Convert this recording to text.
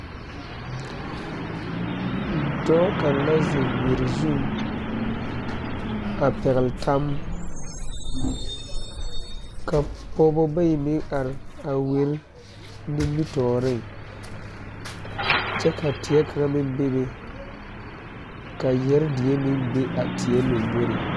Dɔɔ kaŋ la zeŋ wiri zuŋ, a pɛgeli tam, ka pɔgeba bayi meŋ are a wire nimitɔreŋ kyɛ ka teɛ kaŋa meŋ bebe ka yeɛre die meŋ bebe a teɛ lamboriŋ.